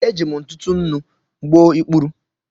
Eji m ntụtụ nnu gbuo ikpuru.